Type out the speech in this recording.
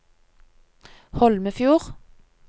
Holmefjord